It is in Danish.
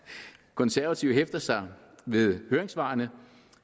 konservative hæfter sig ved høringssvarene